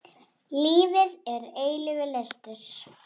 Lífið er eilífur lestur.